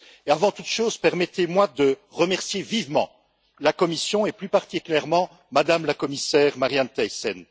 Avant toute chose, permettez moi de remercier vivement la Commission, et plus particulièrement Mme la Commissaire, Marianne Thyssen.